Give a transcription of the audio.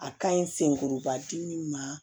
A ka ɲi senkoba dimi ma